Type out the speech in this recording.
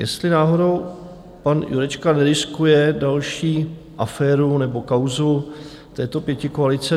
Jestli náhodou pan Jurečka neriskuje další aféru nebo kauzu této pětikoalice?